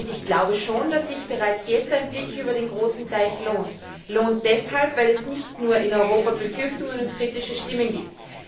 Ich glaube schon, dass sich bereits jetzt ein Blick über den großen Teich lohnt deshalb lohnt, weil es nicht nur in Europa Befürchtungen und kritische Stimmen gibt.